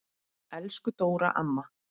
Elsku Dóra amma.